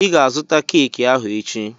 I ga azụta keeki ahụ echi!